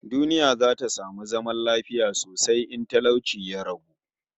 Duniya za ta samu zaman lafiya sosai in talauci ya ragu